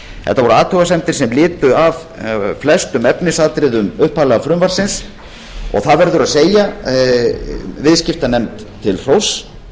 þetta voru athugasemdir sem lutu að flestum efnisatriðum upphaflega frumvarpsins og það verður að segja viðskiptanefnd til hróss